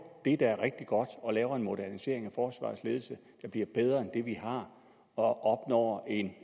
det der er rigtig godt og laver en modernisering af forsvarets ledelse der bliver bedre end det vi har og opnår en